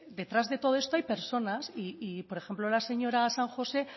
detrás de todo esto hay personas y por ejemplo la señora san josé